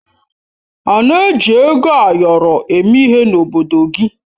Ana eji ego ayọrọ eme ihe n'obodo gị?